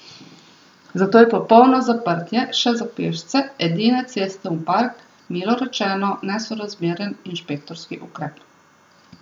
Zato je popolno zaprtje, še za pešce, edine ceste v park, milo rečeno, nesorazmeren inšpektorski ukrep.